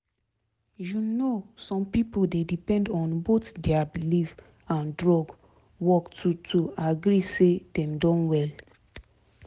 you know some pipo dey depend on both dia belief and drugs work to to agree say dem don well